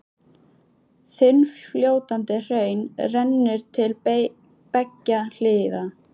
Þunnfljótandi hraun rennur til beggja hliða.